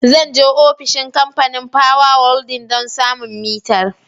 Zan je ofishin Kamfanin Power Holding don samun mitar.